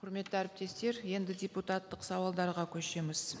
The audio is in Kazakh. құрметті әріптестер енді депутаттық сауалдарға көшеміз